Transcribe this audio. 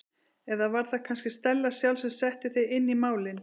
Eða var það kannski Stella sjálf sem setti þig inn í málin?